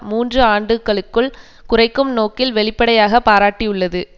மூன்று ஆண்டுகளுக்குள் குறைக்கும் நோக்கில் வெளிப்படையாக பாராட்டியுள்ளது